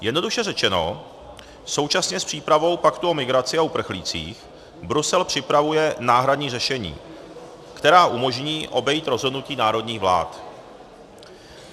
Jednoduše řečeno, současně s přípravou paktu o migraci o uprchlících Brusel připravuje náhradní řešení, která umožní obejít rozhodnutí národních vlád.